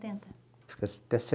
setenta? Fiquei até